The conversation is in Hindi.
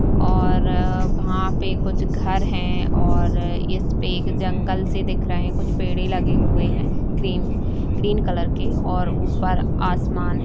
और वहाँ पे कुछ घर हैं और इसपे एक जंगल सी दिख रहें हैं कुछ पेड़ें लगे हुए हैं ग्रीन - ग्रीन कलर के और ऊपर आसमान है।